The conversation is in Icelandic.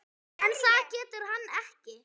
En það getur hann ekki.